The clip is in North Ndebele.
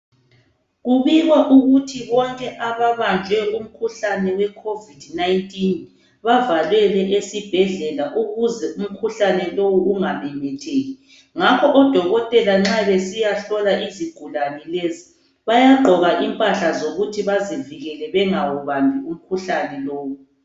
Kubikwa ukuthi bonke ababanjwe umkhuhlane we COVID19 bavalelwe esibhedlela ukuze umkhuhlane lowu unga memetheki .Ngakho odokotela nxa besiya hlola izigulane lezi bayagqoka impahla zokuthi bazivikele ukuze bangawubambi umkhuhlane lowu .